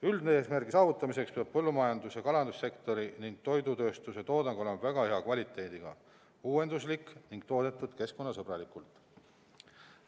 " Üldeesmärgi saavutamiseks peab põllumajandus- ja kalandussektori ning toidutööstuse toodang olema väga hea kvaliteediga, uuenduslik ning toodetud keskkonnasõbralikult.